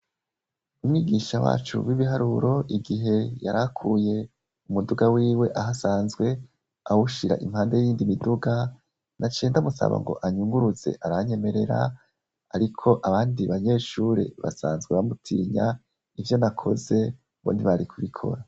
Umwigisha wacu wibiharuro igihe yarakuye umuduga wiwe aho asanzwe awushira impande yiyindi miduga naciye ndamusaba anyuguruze aranyemerera ariko abandi banyeshure basanzwe bamutinya ivyo nakoze ngo ntibari kubikora.